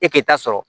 E k'i ta sɔrɔ